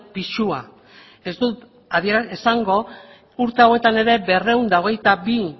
pisua ez dut esango urte hauetan ere berrehun eta hogeita bi